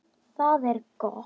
Það er gott